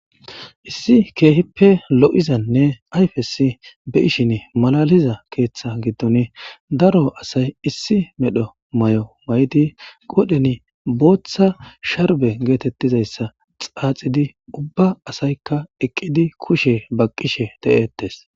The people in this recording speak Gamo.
Issi kehippe lo"izanne ayfess beyanas lo"iza keeththa gidonn daro asay Issi medho Mayo mayadi qodhdheen sharbe getetidaysaxaxidi kushshe baqishshe de"etes